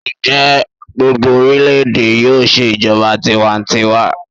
Njẹ gbogbo orilẹ-ede yoo ṣe ijọba tiwantiwa ni ọjọ iwaju?